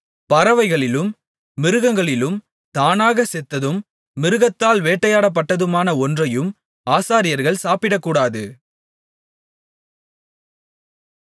பறவைகளிலும் மிருகங்களிலும் தானாகச் செத்ததும் மிருகத்தால் வேட்டையாடப்பட்டதுமான ஒன்றையும் ஆசாரியர்கள் சாப்பிடக்கூடாது